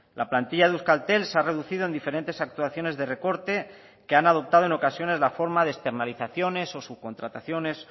la plantilla de euskaltel se ha reducido en diferentes actuaciones de recorte que han adoptado en ocasiones la forma de externalizaciones o subcontrataciones